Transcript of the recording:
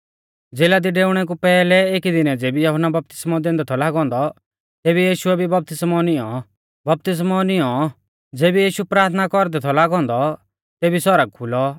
ज़ेला दी डेउणै कु पैहलै एकी दीनै ज़ेबी यहुन्ना बपतिस्मौ दैंदै थौ लागौ औन्दौ तेबी यीशुऐ भी बपतिस्मौ निऔं बपतिस्मौ नींई औ ज़ेबी यीशु प्राथना कौरदै थौ लागौ औन्दौ तेबी सौरग खुलौ